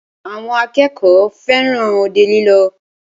Àwọn akẹ́kọ̀ọ́ fẹràn òde lílọ.